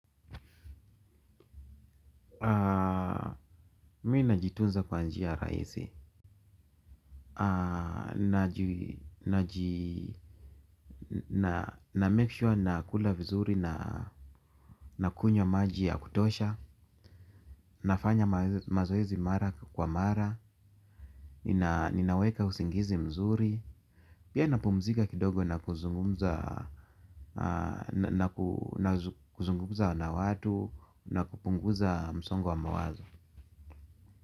Mimi najitunza kwa njia rahisi. Namake sure nakula vizuri na kunywa maji ya kutosha, nafanya mazoezi mara kwa mara, ninaweka usingizi mzuri, pia napumzika kidogo na kuzungumza na kuzungumza na watu, na kupunguza msongo wa mawazo.